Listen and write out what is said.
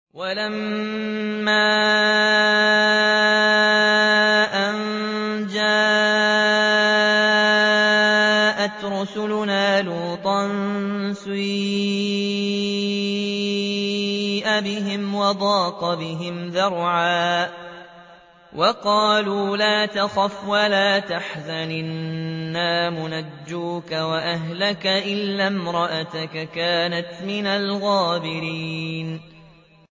وَلَمَّا أَن جَاءَتْ رُسُلُنَا لُوطًا سِيءَ بِهِمْ وَضَاقَ بِهِمْ ذَرْعًا وَقَالُوا لَا تَخَفْ وَلَا تَحْزَنْ ۖ إِنَّا مُنَجُّوكَ وَأَهْلَكَ إِلَّا امْرَأَتَكَ كَانَتْ مِنَ الْغَابِرِينَ